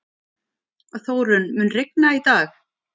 Þórunn, mun rigna í dag?